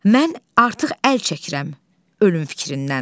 Mən artıq əl çəkirəm ölüm fikrindən.